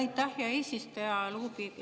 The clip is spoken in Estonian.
Aitäh, hea eesistuja!